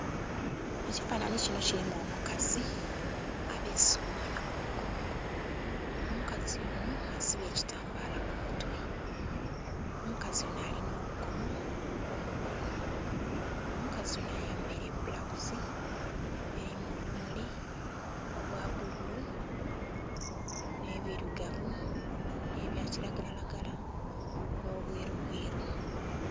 Ekifanhanhi kino kilimu omukazi abeese omwana ku mugongo. Omukazi onho asibye ekitambaala ku mutwe. Omukazi onho alina obukomo ku mukono. Omukazi onho ayambaile ebulawuzi elimu obumuli obwa bbululu nh'ebilugavu, nh'ebya kilagalalagala, nh'obwerubweru.